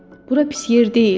Bura pis yer deyil.